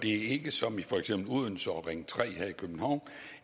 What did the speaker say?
er ikke som i for eksempel odense og ring tre her i københavn